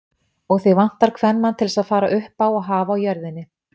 Og þig vantar kvenmann til þess að fara uppá og hafa á jörðinni.